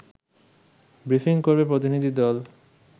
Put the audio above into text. briefing করবে প্রতিনিধি দল